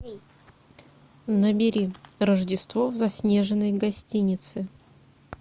набери рождество в заснеженной гостинице